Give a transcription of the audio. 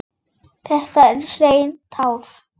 Þetta eru hrein tár.